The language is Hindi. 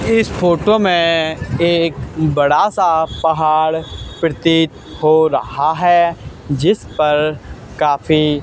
इस फोटो मे एक बड़ा सा पहाड़ प्रतीत हो रहा है जिस पर काफी--